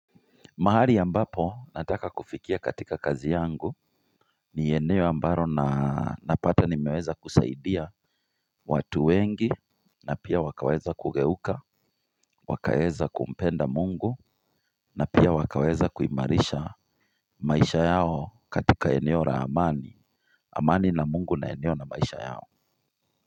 Mahali ambapo nataka kufikia katika kazi yangu ni eneo ambalo na napata nimeweza kusaidia watu wengi na pia wakaweza kugeuka wakaweza kumpenda Mungu na pia wakaweza kuimarisha maisha yao katika eneo la amani amani na Mungu na eneo na maisha yao.